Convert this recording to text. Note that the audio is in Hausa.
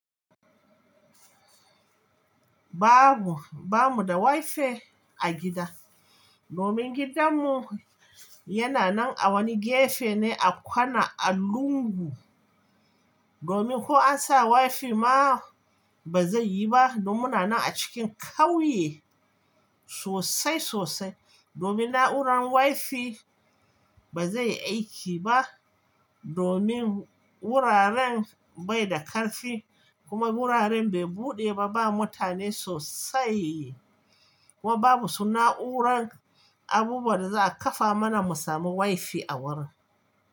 Babu, ba mu da WiFi a gida domin gidanmu yana nan a wani gefe ne a kwana a lungu. Domin ko an sa WiFi ma ba zai yi ba domin ana nan a cikin kauye sosai sosai. Domin na'urar WiFi ba zai aiki ba domin wuraren bai da karfi kuma wuraren bai buɗe ba. Ba mutane sosai kuma babu su na'urar abubuwan da za a kafa mana mu sami WiFi a wurin.